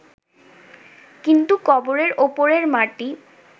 কিন্তু কবরের ওপরের মাটি